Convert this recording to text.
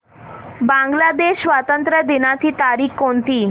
बांग्लादेश स्वातंत्र्य दिनाची तारीख कोणती